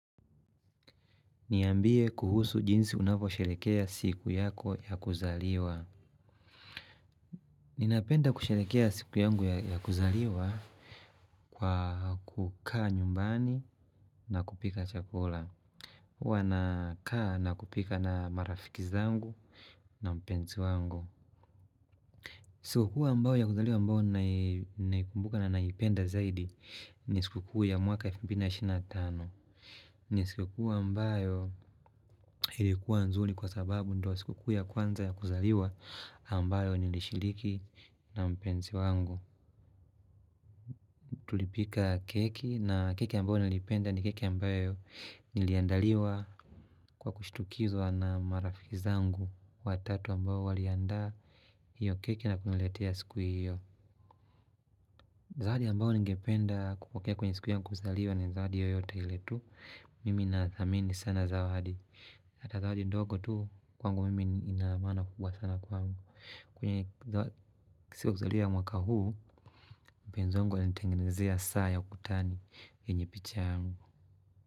Niambie kuhusu jinsi unapo sherekea siku yako ya kuzaliwa. Ninapenda kusherekea siku yangu ya kuzaliwa. Kwa kukaa nyumbani na kupika chakula hua nakaa na kupika na marafiki zangu na mpenzi wangu. Siku tu ambao ya kuzaliwa ambao naikumbuka na naipenda zaidi. Ni siku kuu ya mwaka wa elfu mbili na ishirini na tano ni siku kuu ambayo ilikua nzuri kwa sababu ndiyo siku kuu ya kwanza ya kuzaliwa ambayo nilishiriki na mpenzi wangu. Tulipika keki na keki ambayo nalipenda ni keki ambayo niliandaliwa. Kwa kushitukizwa na marafi zangu watatu ambayo waliandaa hiyo keki na kuniletea siku hiyo. Zawadi ambayo ningependa kupokea kwenye siku ya kuzaliwa ni zawadi yoyote ile tu. Mimi nadhamini sana zawadi. Zawadi ndogo tu kwangu mimi ina maana kubwa sana kwangu. Kwenye siku ya kuzaliwa ya mwaka huu, mpenzi wangu alinitengenezea saa ya ukutani yenye picha yangu.